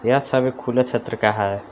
यह छवि खुले क्षेत्र का है।